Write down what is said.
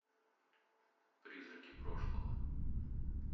призраки прошлого